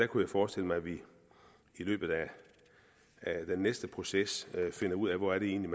kunne forestille mig at vi i løbet af næste proces finder ud af hvor det egentlig